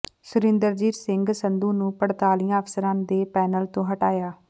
ਸੁਰਿੰਦਰਜੀਤ ਸਿੰਘ ਸੰਧੂ ਨੂੰ ਪੜਤਾਲੀਆ ਅਫਸਰਾਂ ਦੇ ਪੈਨਲ ਤੋਂ ਹਟਾਇਆ